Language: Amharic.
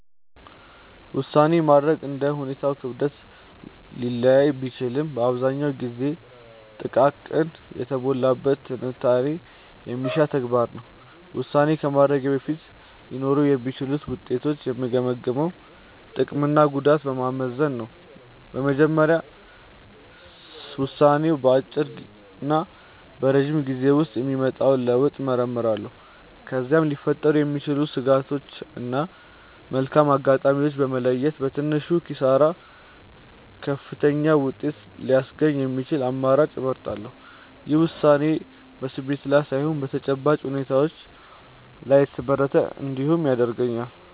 ውሳኔ ማድረግ እንደ ሁኔታው ክብደት ሊለያይ ቢችልም አብዛኛውን ጊዜ ጥንቃቄ የተሞላበት ትንታኔ የሚሻ ተግባር ነው። ውሳኔ ከማድረጌ በፊት ሊኖሩ የሚችሉትን ውጤቶች የምገመግመው ጥቅምና ጉዳቱን በማመዛዘን ነው። በመጀመሪያ ውሳኔው በአጭርና በረጅም ጊዜ ውስጥ የሚያመጣውን ለውጥ እመረምራለሁ። ከዚያም ሊፈጠሩ የሚችሉ ስጋቶችን እና መልካም አጋጣሚዎችን በመለየት፣ በትንሹ ኪሳራ ከፍተኛውን ውጤት ሊያስገኝ የሚችለውን አማራጭ እመርጣለሁ። ይህም ውሳኔዬ በስሜት ላይ ሳይሆን በተጨባጭ እውነታዎች ላይ የተመሰረተ እንዲሆን ይረዳኛል።